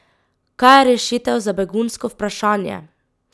Kaj je rešitev za begunsko vprašanje?